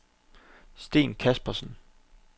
Steen Caspersen